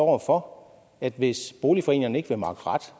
over for at hvis boligforeningerne ikke vil makke ret